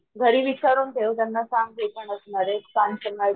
घरी विचारुन ठेव त्यांना सांग मी पण असणार आहे